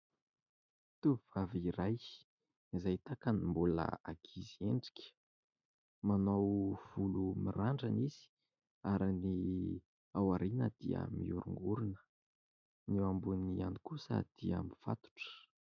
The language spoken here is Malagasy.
Tovovavy iray izay tahaka ny mbola ankizy endrika. Manao volo mirandrana izy ary ny ao aoriana dia mihorongorona. Ny eo amboniny ihany kosa dia mifatotra.